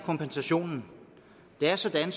kompensationen det er sådan